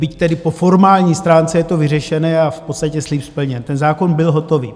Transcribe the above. Byť tedy po formální stránce je to vyřešené a v podstatě slib splněn, ten zákon byl hotový.